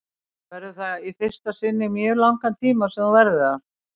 Verður það þá í fyrsta sinn í mjög langan tíma sem þú verður þar?